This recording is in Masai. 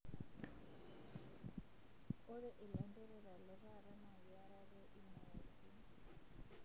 Ore ilanterera le taata na keyarare imayaritin